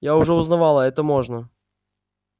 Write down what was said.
я уже узнавала это можно